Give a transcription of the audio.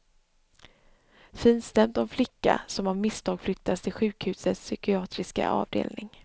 Finstämt om flicka som av misstag flyttas till sjukhusets psykiatriska avdelning.